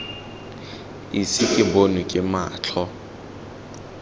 ise ke bonwe ke matlho